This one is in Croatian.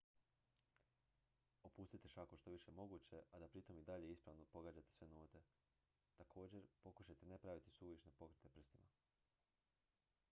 opustite šaku što je više moguće a da pritom i dalje ispravno pogađate sve note također pokušajte ne praviti suvišne pokrete prstima